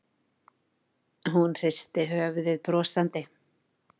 Hún hristi höfuðið brosandi.